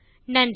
நன்றி